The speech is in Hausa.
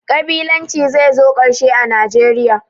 Ƙabilanci zai zo ƙarshe a Najeriya